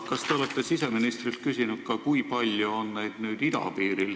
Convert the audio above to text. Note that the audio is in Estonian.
Kas te olete siseministrilt ka küsinud, kui palju on neid idapiiril?